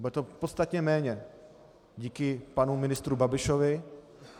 Bude to podstatně méně díky panu ministru Babišovi.